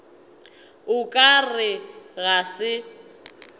o ka re ga se